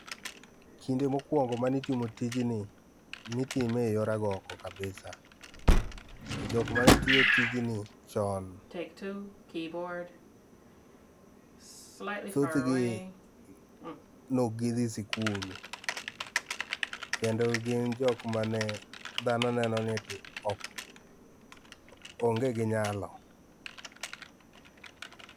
Kinde mokwongo mane itimo tijni, nitime eyor agoko kabisa ,to jok mane tiyo tijni chon thothgi neok gidhi skul, kendo gin jok mane dhano neno ni ati ok onge gi nyalo.